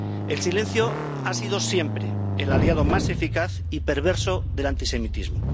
El silencio ha sido siempre el aliado más eficaz y perverso del antisemitismo.